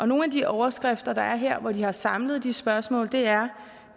nogle af de overskrifter der er her hvor de har samlet de spørgsmål er